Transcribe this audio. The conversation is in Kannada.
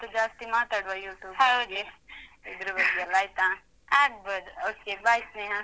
ಮತ್ತೂ ಜಾಸ್ತಿ ಮಾತಾಡುವ YouTube ಬಗ್ಗೆ. ಇದ್ರ್ ಬಗ್ಗೆಯೆಲ್ಲ ಆಯ್ತಾ? okay bye ಸ್ನೇಹ.